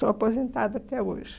Sou aposentada até hoje.